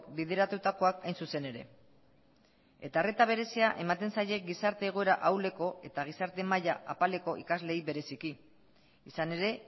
bideratutakoak hain zuzen ere eta arreta berezia ematen zaie gizarte egoera ahuleko eta gizarte maila apaleko ikasleei bereziki izan ere